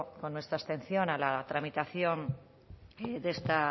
con nuestra abstención a la tramitación de esta